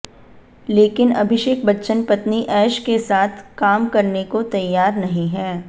लेकिन अभिषेक बच्चन पत्नी ऐश के साथ काम करने को तैयार नहीं है